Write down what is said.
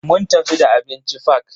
Mun tafi da abinci fak.